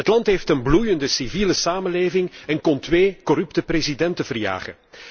Het land heeft een bloeiende civiele samenleving en kon twee corrupte presidenten verjagen.